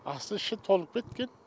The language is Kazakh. асты іші толып кеткен